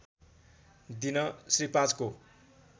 दिन श्री ५ को